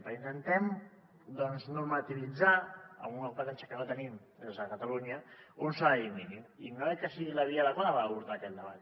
perquè intentem doncs normativitzar amb una competència que no tenim des de catalunya un salari mínim i no crec que sigui la via adequada per abordar aquest debat